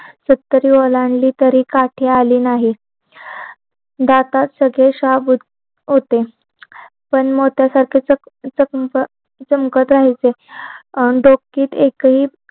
सत्तरवी ओलांडली तरी काठी आली नाही दात सगळे शाबूत होते पण मोत्यासारखे चमकत राहायचे डोक्यात एक हि